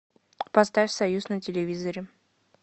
поставь союз на телевизоре